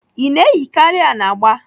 Ị na-eyikarị anagba?